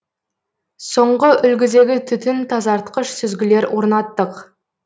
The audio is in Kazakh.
соңғы үлгідегі түтін тазартқыш сүзгілер орнаттық